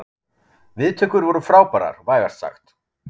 Viðtökur voru frábærar vægast sagt